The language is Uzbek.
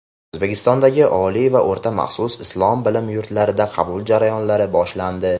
O‘zbekistondagi oliy va o‘rta maxsus islom bilim yurtlarida qabul jarayonlari boshlandi.